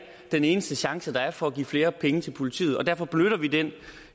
den eneste chance der er for at give flere penge til politiet og derfor benytter vi den